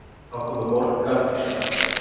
Þá komu borgarísjakarnir.